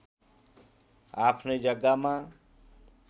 आफ्नै जग्गामा